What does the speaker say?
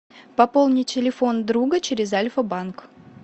пополни телефон друга через альфа банк